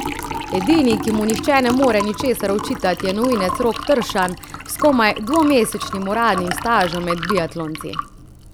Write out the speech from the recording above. Edini, ki mu nihče ne more ničesar očitati, je novinec Rok Tršan s komaj dvomesečnim uradnim stažem med biatlonci.